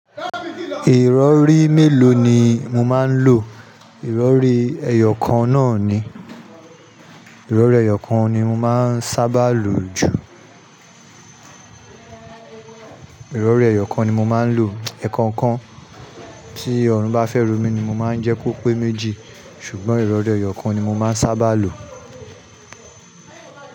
Ìrọ̀rí mélòó ni mo máa ń lo? Ìrọ̀rí ẹyọ kan náà ni, ìrọ̀rí ẹyọ kan ni mo máa ń sábà lo jù. Ìrọ̀rí ẹyọ kan ni mo máa ń lo. Ẹ̀ẹ̀kan kan tí Ọ̀run bá fẹ́ ro mí ni mo máa ń jẹ kó pé méjì. Ṣùgbọ́n ìrọ̀rí ẹyọ kan ni mo máa ń sábà lo.